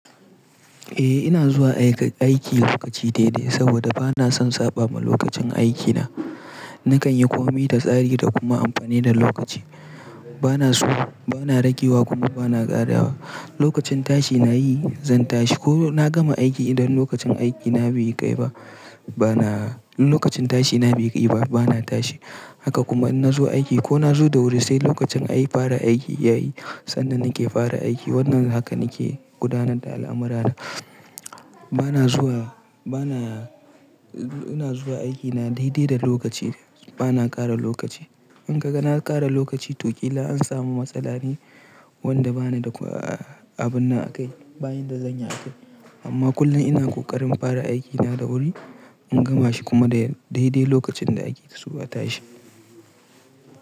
Eh ina zuwa aiki lokaci dai dai saboda bana son saɓa ma lokacin aikina. Nakan yi komai da tsari da kuma amfani da lokaci. Bana zuwa, bana ragewa kuma bana ƙarawa. Lokacin tashi nayi zan tashi ko na gama aiki idan lokacin aikina bai kai ba bana-- in lokacin tashi na bai kai ba bana tashi. Haka kuma in na zo aiki ko na zo da wuri sai lokacin ayi fara aiki yayi sannan nake fara aiki. Wannan hakan nake gudanar da al'amurana. Bana zuwa, bana-- ina zuwa aikina daidai da lokaci bana ƙara lokaci. In kaga na ƙara lokaci to ƙila an samu matsala ne wanda bana da abun na a kai, ba in da zanyi a kai. Amma kullum ina ƙoƙarin fara aikina da wuri in gama shi kuma dai dai lokacin da ake so a tashi.